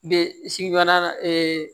Be sigiyɔrɔ la